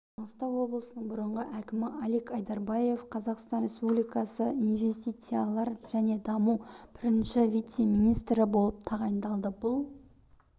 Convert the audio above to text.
маңғыстау облысының бұрынғы әкімі алик айдарбаев қазақстан республикасы инвестициялар және даму бірінші вице-министрі болып тағайындалды бұл